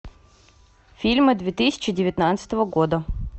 фильмы две тысячи девятнадцатого года